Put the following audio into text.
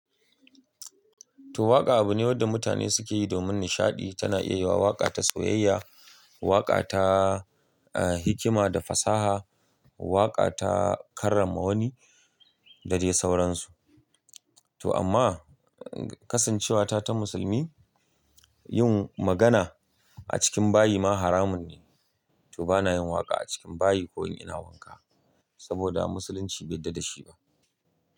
To waƙa abu ne wanda mutane suke yi domin nishaɗi. Tana iya wa waƙa ta soyayya, waƙa ta, ah, hikima da fasaha, waƙa ta karrama wani da dai sauransu. To amma kasancewata ta musulmi, yin magana a cikin bayi ma haramun ne. To bana yin waƙa a cikin bayi ko in ina wanka saboda musulunci bai yarda da shi ba.